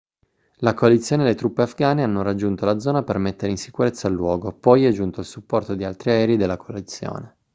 la coalizione e le truppe afghane hanno raggiunto la zona per mettere in sicurezza il luogo poi è giunto il supporto di altri aerei della coalizione